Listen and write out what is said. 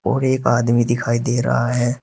और एक आदमी दिखाई दे रहा है।